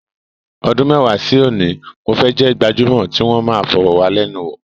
Ọdún mẹ́wàá sí òní, mo fẹ́ jẹ́ gbajúmọ̀ tí wọn máa fọ̀rọ̀wálẹ́nuwò.